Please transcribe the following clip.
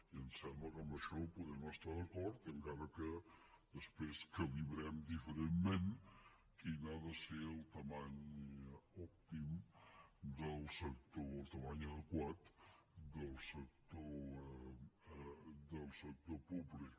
i em sembla que en això podem estar d’acord encara que després calibrem diferentment quina ha de ser la mida òptima la mida adequada del sector públic